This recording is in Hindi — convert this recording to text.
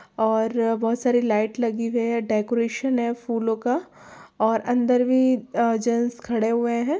और बहुत सारे लाइट लगी हैं डेकोरेशन है फूलों का और अंदर भी आ जेंट्स खड़े हुए है।